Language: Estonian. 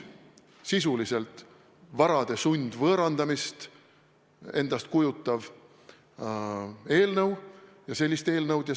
Sisuliselt on see varade sundvõõrandamist ette nägev eelnõu ja sellist eelnõu me ei toeta.